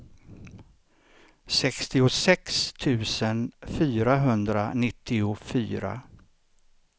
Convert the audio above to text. sextiosex tusen fyrahundranittiofyra